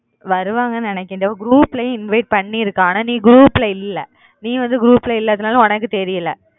வருவாங்க நினைக்குறேன் group லயும் invite பண்ணிருக்கா நீ group ல இல்ல